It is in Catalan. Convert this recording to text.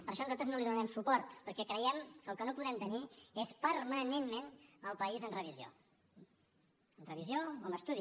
per això nosaltres no li donarem suport perquè creiem que el que no podem tenir és permanentment el país en revisió en revisió o en estudi